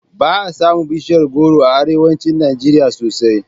Ba a samun bishiyar goro a arewacin Najeriya sosai